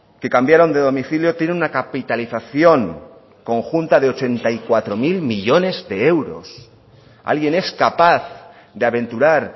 que cambiaron de domicilio tienen una capitalización conjunta de ochenta y cuatro mil millónes de euros alguien es capaz de aventurar